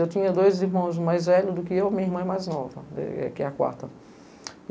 Eu tinha dois irmãos mais velhos do que eu e minha irmã mais nova, que é a quarta.